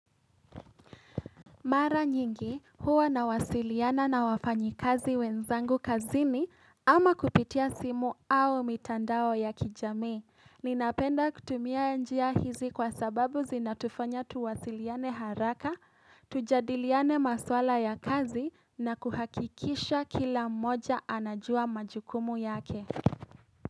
Mara nyingi huwa nawasiliana na wafanyikazi wenzangu kazini ama kupitia simu au mitandao ya kijamii. Ninapenda kutumia njia hizi kwa sababu zinatufanya tuwasiliane haraka, tujadiliane maswala ya kazi na kuhakikisha kila mmoja anajua majukumu yake.